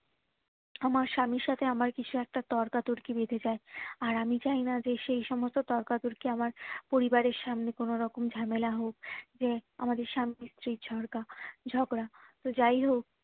আমার স্বামীর সাথে আমার কিছু একটা তর্কাতর্কি বেঁধে যাই আর আমি চাইনা যে সে সমস্ত তর্কাতর্কি আমার পরিবারের সামনে কোনো রকম ঝামেলা হোক যে আমাদের স্বামীর স্ত্রীর ঝগড়া ঝগড়া তো যাই হোক